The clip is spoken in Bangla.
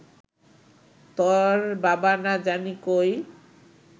তর বাবা না জানি কই